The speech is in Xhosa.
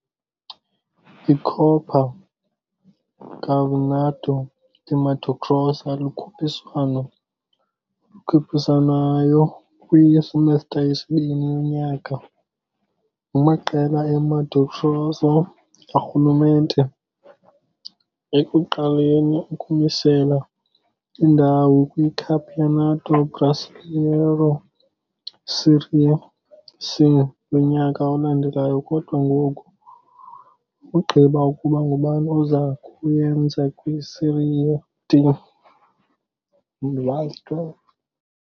I-Copa Governador de Mato Grosso lukhuphiswano olukhuphisanayo kwi-semester yesibini yonyaka, ngamaqela e-Mato Grosso karhulumente, ekuqaleni ukumisela indawo kwi-Campeonato Brasileiro Série C yonyaka olandelayo, kodwa ngoku ukugqiba ukuba ngubani oza kuyenza kwi-Série D.